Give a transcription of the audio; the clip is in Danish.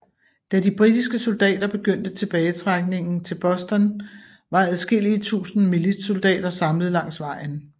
Da de britiske soldater begyndte tilbagetrækningen til Boston var adskillige tusinde militssoldater samlet langs vejen